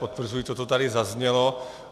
Potvrzuji to, co tady zaznělo.